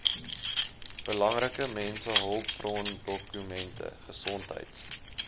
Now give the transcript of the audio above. belangrike mensehulpbrondokumente gesondheids